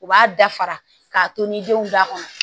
U b'a dafara k'a to ni denw da kɔnɔ